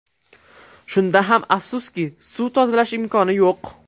Shunda ham afsuski, suv tozalash imkoni yo‘q.